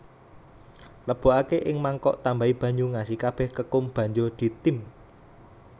Lebokake ing mangkok tambahi banyu ngasi kabeh kekum banjur ditim